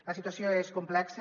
la situació és complexa